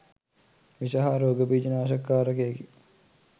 විෂ හා රෝග බීජ නාශක කාරකයකි.